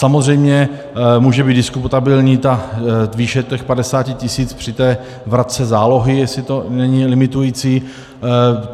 Samozřejmě může být diskutabilní ta výše těch 50 tisíc při té vratce zálohy, jestli to není limitující.